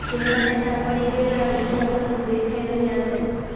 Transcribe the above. જેમાં નેતા પડી ગયેલા અને ઈજાગ્રસ્ત દેખાઈ રહ્યા છે